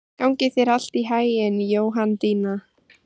Gangi þér allt í haginn, Jóhanndína.